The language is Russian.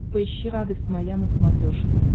поищи радость моя на смотрешке